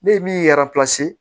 Ne min ye